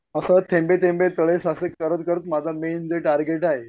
असं थेंबे थेंबे तळे साचे करत करत माझा मेन जे टार्गेट आहे